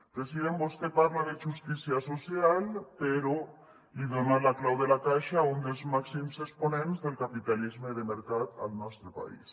president vostè parla de justícia social però li dona la clau de la caixa a un dels màxims exponents del capitalisme de mercat al nostre país